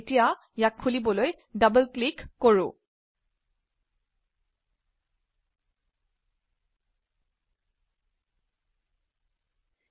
এতিয়া ইয়াক খুলিবলৈ ডবল ক্লিক কৰিম